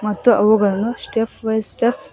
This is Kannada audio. ಮತ್ತು ಅವುಗಳನ್ನು ಸ್ಟೆಪ್ ವೈಸ ಸ್ಟೆಪ್ --